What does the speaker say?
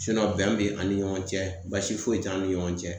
Sinɔn bɛn be ani ɲɔgɔn cɛ baasi foyi t'an ni ɲɔgɔn cɛ